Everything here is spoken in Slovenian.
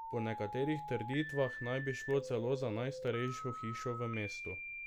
Po nekaterih trditvah naj bi šlo celo za najstarejšo hišo v mestu.